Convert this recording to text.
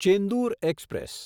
Chendur express